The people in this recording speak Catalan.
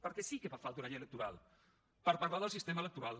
per a què sí que fa falta una llei electoral per parlar del sistema electoral